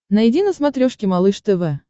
найди на смотрешке малыш тв